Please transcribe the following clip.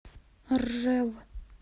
ржев